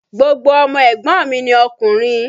Gbogbo ọmọ ẹ̀gbọ́n mi ni okùnrin.